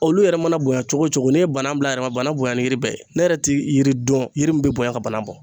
Olu yɛrɛ mana bonya cogo o cogo ni ye bana bila yɛrɛ bana bonya ni yiri bɛɛ ye ne yɛrɛ ti yiri dɔn yiri min bɛ bonya ka bana bɔ.